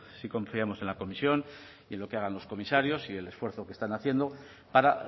sí confiamos en la comisión y en lo que hagan los comisarios y el esfuerzo que están haciendo para